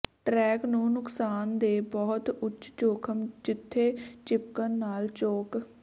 track ਨੂੰ ਨੁਕਸਾਨ ਦੇ ਬਹੁਤ ਉੱਚ ਜੋਖਮ ਜਿੱਥੇ ਿਚਪਕਣ ਨਾਲ ਚੌਕ